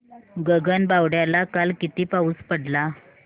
गगनबावड्याला काल किती पाऊस पडला